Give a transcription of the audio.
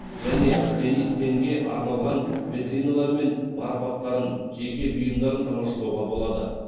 және денис тенге арналған витриналар мен марапаттарын жеке бұйымдарын тамашалауға болады